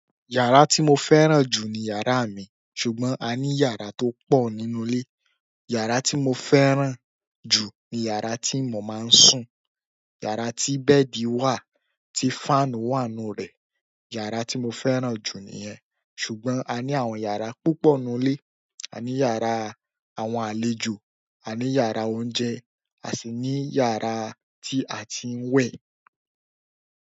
Yara ti mo fẹ́ràn ju ni yara mi, ṣùgbọ́n a ni yara to po nínú ile. Yàrá tí mo fẹ́ràn jù ni yàrá tí mo máa ń sùn. Yàrá tí bẹ́ẹ̀dì wà, tí fáànù wà n nú rẹ̀. Yara ti mo fẹ́ràn ju niyen ṣùgbọ́n a ní àwọn yàrá púpọ̀ nínú ilé. A ní yàrá àwọn àlejò, a ní yàrá oúnjẹ, a sì ní yàrá tí a ti ń wẹ̀.